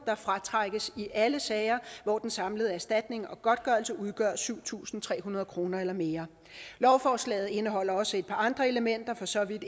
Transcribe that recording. der fratrækkes i alle sager hvor den samlede erstatning og godtgørelse udgør syv tusind tre hundrede kroner eller mere lovforslaget indeholder også et par andre elementer for så vidt